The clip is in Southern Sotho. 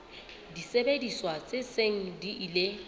disebediswa tse seng di ile